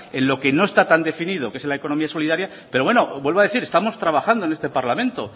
en lo que no está tan definido que es en la economía solidaria pero bueno vuelvo a decir estamos trabajando en este parlamento